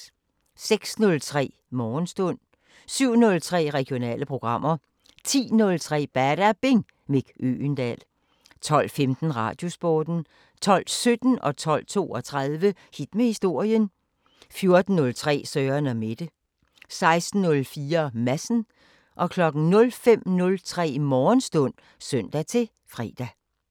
06:03: Morgenstund 07:03: Regionale programmer 10:03: Badabing: Mick Øgendahl 12:15: Radiosporten 12:17: Hit med historien 12:32: Hit med historien 14:03: Søren & Mette 16:04: Madsen 05:03: Morgenstund (søn-fre)